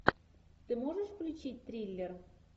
ты можешь включить триллер